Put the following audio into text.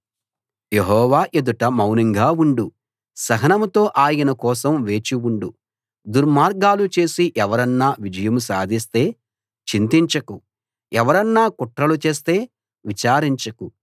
యెహోవా ఎదుట మౌనంగా ఉండు సహనంతో ఆయన కోసం వేచి ఉండు దుర్మార్గాలు చేసి ఎవరన్నా విజయం సాధిస్తే చింతించకు ఎవరన్నా కుట్రలు చేస్తే విచారించకు